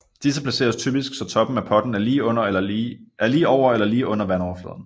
Disse placeres typisk så toppen af potten er lige over eller lige under vandoverfladen